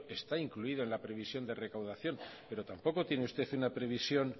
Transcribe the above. está incluida en la previsión de recaudación pero tampoco tiene usted una previsión